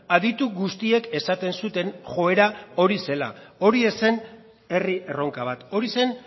aditu guztiek esaten zuten joera hori zela hori ez zen herri erronka bat hori zen